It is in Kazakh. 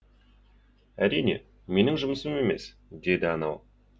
әрине менің жұмысым емес деді анау